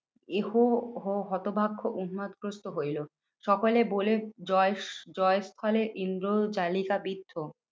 এহ হ হতভাগ্য উন্মাদগ্রস্থ হইলো সকলে বলে জয় জয়ের ফলে ইন্দ্র জালিকা বৃদ্ধ।